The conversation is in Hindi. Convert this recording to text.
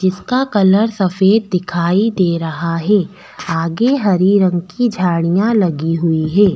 इसका कलर सफ़ेद दिखाई दे रहा है आगे हरी रंग की झाड़िया लगी हुई है।